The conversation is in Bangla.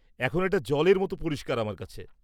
-এখন এটা জলের মতো পরিষ্কার আমার কাছে।